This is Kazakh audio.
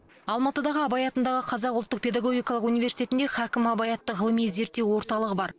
алматыдағы абай атындағы қазақ ұлттық педагогикалық университетінде хакім абай атты ғылыми зерттеу орталығы бар